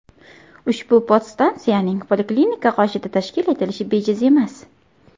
Ushbu podstansiyaning poliklinika qoshida tashkil etilishi bejiz emas.